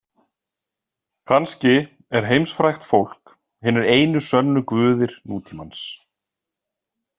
Kannski er heimsfrægt fólk hinir einu sönnu guðir nútímans.